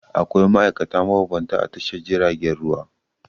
Akwai ma'aikata mabambanta a Tashar jiragen ruwa.